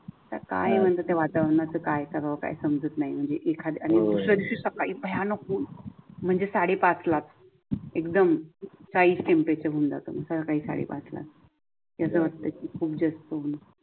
काय म्हणते, वातावरणाचे काय कराव काही समजत नाही म्हणजे एखाद्या आणि दुसर्या दिवशी सकाळी भयानक म्हणजे साडेपाच लाख एकदम काहीच टेम्परेचर होवून जात सका अस वाटते कि खूप जास्त हि